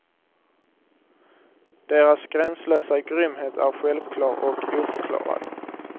Deras gränslösa grymhet är självklar och oförklarad.